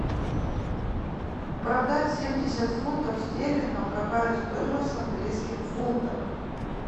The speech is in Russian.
продать семьдесят фунтов стерлингов какая стоимость в английских фунтах